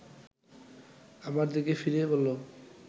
আমার দিকে ফিরে বলল